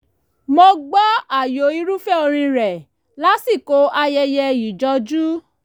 mo gbọ́ ààyò irúfẹ́ orin rẹ̀ lásìkò ayẹyẹ ìjọjú